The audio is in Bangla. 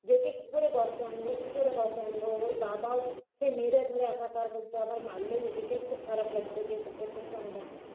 যে একে কী করে বশে আনব কী করে বশে আনব ওর বাবাও সেই মেরেধরে একাকার করতো আর মারলে নিজেকে খুব খারাপ লাগতো যে এটা প্রথম সন্তান